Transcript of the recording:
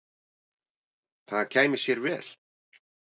Það kæmi sér vel.